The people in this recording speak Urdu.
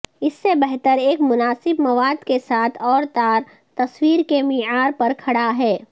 اس سے بہتر ایک مناسب مواد کے ساتھ اوتار تصویر کے معیار پر کھڑا ہے